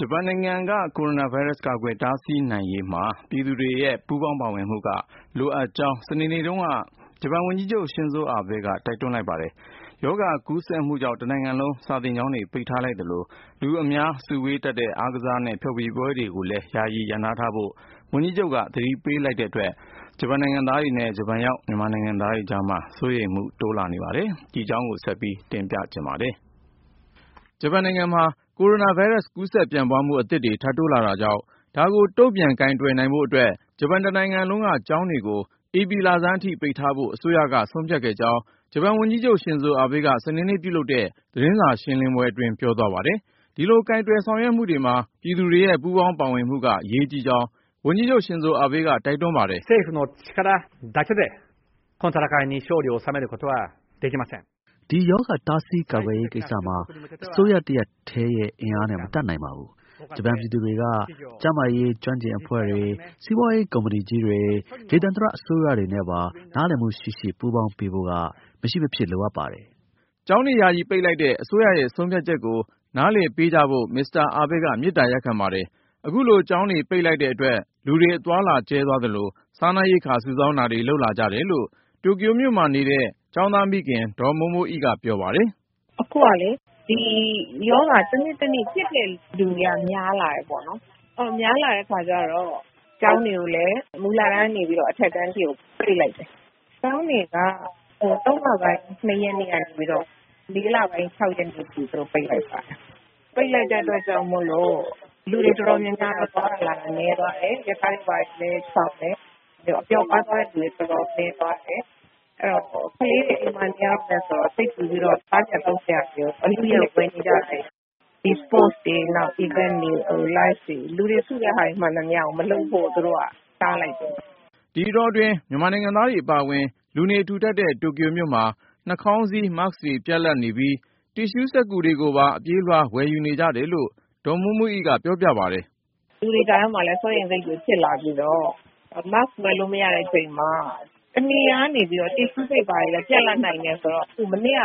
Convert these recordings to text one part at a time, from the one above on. ဂျပန်နိုင်ငံက ကိုရိုနာဗိုင်းရပ်စ် ကာကွယ်တားဆီးနိုင်ရေးမှာ ပြည်သူတွေရဲ့ ပူးပေါင်းပါဝင်မှု လိုအပ်ကြောင်း စနေနေ့တုန်းက ဂျပန်ဝန်ကြီးချုပ် Shinzo Abe က တိုက်တွန်းလိုက်ပါတယ်။ ရောဂါကူးစက်မှုကြောင့် တနိုင်ငံလုံး စာသင်ကျောင်းတွေ ပိတ်ထားလိုက်သလို လူအများ စုဝေးတတ်တဲ့ အားကစားနဲ့ ဖျော်ဖြေရေးပွဲတွေကို ယာယီရပ်နားထားကြဖို့ ဝန်ကြီးချုပ်က သတိပေးလိုက်တဲ့အတွက် ဂျပန်နိုင်ငံသားတွေနဲ့ ဂျပန်ရောက် မြန်မာနိုင်ငံသားတွေကြားမှာလည်း စိုးရိမ်မှုတွေ တိုးလာနေတာပါ။ အကြောင်းစုံကိုတော့ ကိုဉာဏ်ဝင်းအောင်က တင်ပြပါမယ်။ ဂျပန်နိုင်ငံမှာ ကိုရိုနာဗိုင်းရပ်စ် ကူးစက်ပြန့်ပွားမှု အသစ်တွေ ထပ်တိုးလာတာကြောင့် ဒါကို တုံ့ပြန်ကိုင်တွယ်နိုင်ဖို့အတွက် ဂျပန်တနိုင်ငံလုံးက ကျောင်းတွေကို ဧပြီလဆန်းအထိ ပိတ်ထားဖို့ အစိုးရက ဆုံးဖြတ်ခဲ့ကြောင်း ဂျပန်ဝန်ကြီးချုပ် Shinzo Abe က စနေနေ့ပြုလုပ်တဲ့ သတင်းစာ ရှင်းလင်းပွဲအတွင်း ပြောသွားပါတယ်။ ဒီလို ကိုင်တွယ်ဆောင်ရွက်မှုတွေမှာ ပြည်သူတွေရဲ့ ပူးပေါင်းပါဝင်မှု အရေးကြီးကြောင်း ဝန်ကြီးချုပ် Shinzo Abe က တိုက်တွန်းပါတယ်။ “ဒီရောဂါ တားဆီးကာကွယ်ရေးကိစ္စမှာ အစိုးရတရပ်တည်းရဲ့ အင်အားနဲ့ မတတ်နိုင်ပါဘူး။ ဂျပန်ပြည်သူတွေက ကျန်းမာရေး ကျွမ်းကျင်အဖွဲ့တွေ၊ စီးပွားရေး ကုမ္ပဏီကြီးတွေ၊ ဒေသန္တရ အစိုးရတွေနဲ့ပါ နားလည်မှုရှိရှိ ပူးပေါင်းပေးဖို့က မရှိမဖြစ် လိုအပ်ပါတယ်။” ကျောင်းတွေ ယာယီပိတ်လိုက်တဲ့ အစိုးရဆုံးဖြတ်ချက်ကို နားလည်ပေးကြဖို့ မစ္စတာ Abe က ပြောပါတယ်။ အခုလို ကျောင်းတွေပိတ်လိုက်တဲ့အတွက် လူတွေ အသွားအလာ ကျဲသွားသလို စားနပ်ရိက္ခာ စုဆောင်းတာတွေ လုပ်လာကြတယ်လို့ တိုကျိုမြို့မှာနေထိုင်တဲ့ ကျောင်းသားမိခင် ဒေါ်မိုးမိုးအိက ပြောပါတယ်။ “အခုကလေ ဒီရောဂါဖြစ်တဲ့ လူနာတွေက တနေ့ထက်တနေ့ များလာတယ်ပေါ့နော်။ များလာတဲ့အခါကျတော့ ကျောင်းတွေကိုလည်း မူလတန်းကနေ အထက်တန်းအထိကို ပိတ်လိုက်တယ်။ ကျောင်းတွေက မတ်လ ၂ ရက်ကနေပြီးတော့ ဧပြီလ ၆ ရက်နေ့ထိ သူတို့ ပိတ်လိုက်ပါတယ်။ ပိတ်လိုက်တဲ့အတွက်ကြောင့်မို့ လူတွေတော်တော်များများ သွားတာလာတာ နည်းသွားတယ်၊ ရထားတွေ ဘာတွေလည်း ချောင်တယ်၊ အပျော်အပါး သွားတဲ့လူတွေလည်း တော်တော်နည်းသွားတယ်။ အဲဒီတော့ ကလေးတွေ အိမ်မှာနေရတဲ့ အခါကျတော့ စိတ်ပူပြီးတော့ စားစရာ သောက်စရာတွေကို အလုအယက် ဝယ်နေကြတယ်။ ပြီးတော့ ဒီ အားကစားပွဲတော်တွေ စင်တင်ဂီတ Live တွေ လူတွေစုတဲ့ဟာတွေ မှန်သမျှကို မလုပ်ဖို့ အစိုးရက တားလိုက်တယ်ပေါ့နော်။” ဒီအတောတွင်း မြန်မာနိုင်ငံသားတွေ အပါအဝင် လူနေထူထပ်တဲ့ တိုကျိုမြို့မှာ နှာခေါင်းစည်း Mask တွေ ပြတ်လပ်နေပြီး တစ်ရှူးစက္ကူတွေကိုပါ အပြေးအလွှား ဝယ်နေကြတယ်လို့ ဒေါ်မိုးမိုးအိက ပြောပြပါတယ်။ “လူတွေကြားထဲမှာလည်း စိုးရိမ်စိတ်တွေ ဖြစ်လာပြီးတော့ Mask ဝယ်လို့မရတဲ့ အချိန်မှာ တနေရာကနေပြီးတော့ တစ်ရှူးစက္ကူတွေလည်း ပြတ်လပ်နိုင်တယ်ဆိုတော့ မနေ့က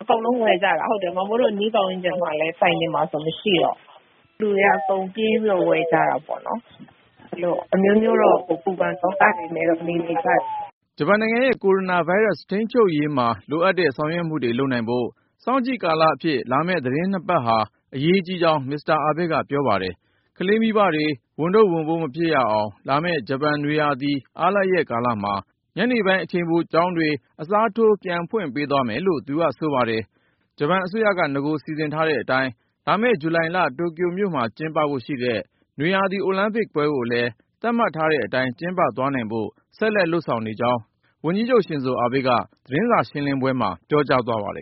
အကုန်လုံးဝယ်ကြတာ။ ကျမတို့ အနီးဝန်းကျင်က ဆိုင်တွေမှာဆိုရင်လည်း မရှိတော့ဘူး။ လူတွေက ပြေးပြီးတော့ ဝယ်ကြတာပဲ။ ဒီလို အမျိုးမျိုးတော့ ပူပန်သောကတွေနဲ့ နေနေကြရတာပေါ့။” ဂျပန်နိုင်ငံရဲ့ ကိုရိုနာဗိုင်းရပ်စ် ထိန်းချုပ်ရေးမှာ လိုအပ်တဲ့ ဆောင်ရွက်မှုတွေ လုပ်နိုင်ဖို့ စောင့်ကြည့်ကာလအဖြစ် လာမယ့် သီတင်း ၂ ပတ်ဟာ အရေးကြီးကြောင်း မစ္စတာ Abe က ပြောပါတယ်။ ကလေးမိဘတွေ ဝန်ထုပ်ဝန်ပိုး မဖြစ်ရအောင် လာမယ့် ဂျပန်နွေဦးရာသီ အားလပ်ရက်ကာလမှာ ညနေပိုင်း အချိန်ပိုကျောင်းတွေ အစားထိုး ပြန်ဖွင့်ပေးသွားမယ်လို့လည်း သူကဆိုပါတယ်။ ဂျပန်အစိုးရက နဂိုစီစဉ်ထားတဲ့အတိုင်း လာမယ့် ဇူလိုင်လ တိုကျိုမြို့မှာ ကျင်းပဖို့ရှိတဲ့ နွေရာသီ အိုလံပစ်ပွဲကိုလည်း သတ်မှတ်ထားတဲ့အတိုင်း ကျင်းပသွားနိုင်ဖို့ ဆက်လက်လုပ်ဆောင်နေကြောင်း ဝန်ကြီးချုပ် Shinzo Abe က သတင်းစာရှင်းလင်းပွဲမှာ ပြောကြားခဲ့ပါတယ်